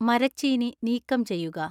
മരച്ചീനി നീക്കം ചെയ്യുക